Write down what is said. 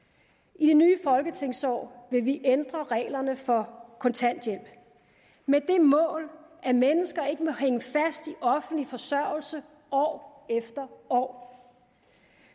i det nye folketingsår vil vi ændre reglerne for kontanthjælp med det mål at mennesker ikke i offentlig forsørgelse år efter år